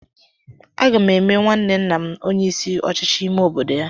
Aga m eme nwanne nna m onye isi ọchịchị ime obodo ya.